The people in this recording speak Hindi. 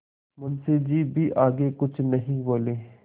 मुंशी जी भी आगे कुछ नहीं बोले